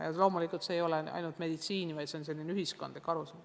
Ja loomulikult ei ole see ainult meditsiini teema, vaid see on ühiskondlik arusaam.